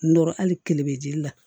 Nɔrɔ hali kile be ji la